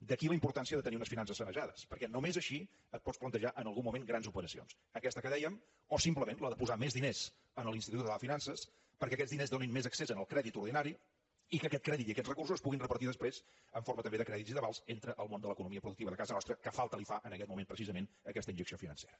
d’aquí la importància de tenir unes finances sanejades perquè només així et pots plantejar en algun moment grans operacions aquesta que dèiem o simplement la de posar més diners a l’institut català de finances perquè aquests diners donin més accés al crèdit ordinari i que aquest crèdit i aquests recursos es puguin repartir després en forma també de crèdits i d’avals entre el món de l’economia productiva de casa nostra que falta li fa en aquest moment precisament aquesta injecció financera